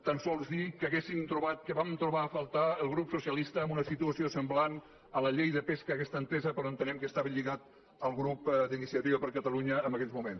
tan sols dir que vam trobar a faltar en el grup socialista en una situació semblant a la llei de pesca aquesta entesa però entenem que estaven lligats al grup d’iniciativa per catalunya en aquells moments